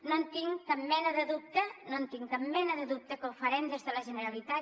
no tinc cap mena de dubte no tinc cap mena de dubte que ho farem des de la generalitat